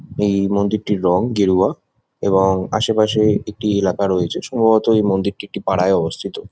এই মন্দির টির রং গেরুয়া এবং আশেপাশে একটি এলাকা রয়েছে। সম্ববত এই মন্দিরটি একটি পাড়ায় অবস্থিত ।